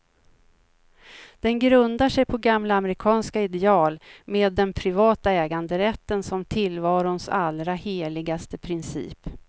Den grundar sig på gamla amerikanska ideal, med den privata äganderätten som tillvarons allra heligaste princip.